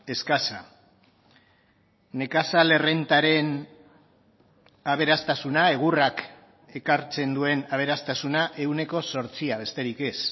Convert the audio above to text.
eskasa nekazal errentaren aberastasuna egurrak ekartzen duen aberastasuna ehuneko zortzia besterik ez